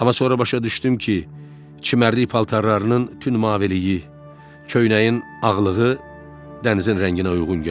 Amma sonra başa düşdüm ki, çimərlik paltarlarının tünd maviliyi, köynəyin ağlığı dənizin rənginə uyğun gəlir.